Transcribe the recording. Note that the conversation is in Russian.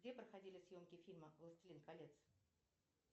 где проходили съемки фильма властелин колец